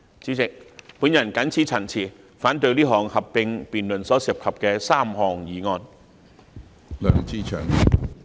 主席，我謹此陳辭，反對這項合併辯論所涉及的3項議案。